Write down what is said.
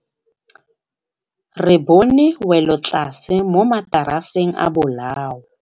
Re bone wêlôtlasê mo mataraseng a bolaô.